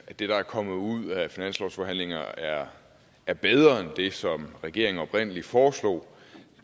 det der er kommet ud af finanslovsforhandlingerne er er bedre end det som regeringen oprindelig foreslog